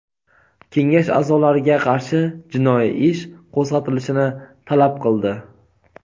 kengash a’zolariga qarshi jinoiy ish qo‘zg‘atilishini talab qildi.